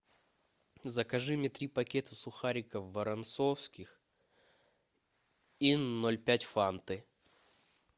закажи мне три пакета сухариков воронцовских и ноль пять фанты